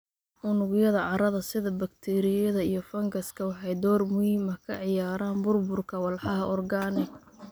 Unugyada carrada, sida bakteeriyada iyo fangaska, waxay door muhiim ah ka ciyaaraan burburka walxaha organic.